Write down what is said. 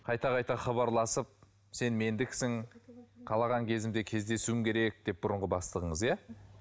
қайта қайта хабарласып сен мендіксің қалаған кезімде кездесуім керек деп бұрынғы бастығыңыз иә